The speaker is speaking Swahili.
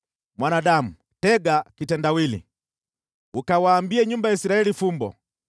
“Mwanadamu, tega kitendawili, ukawaambie nyumba ya Israeli fumbo.